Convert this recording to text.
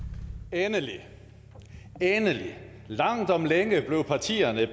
endelig endelig langt om længe blev partierne